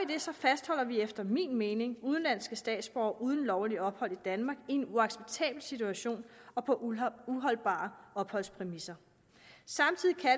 det så fastholder vi efter min mening udenlandske statsborgere uden lovligt ophold i danmark i en uacceptabel situation og på uholdbare opholdspræmisser